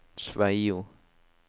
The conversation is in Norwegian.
Sveio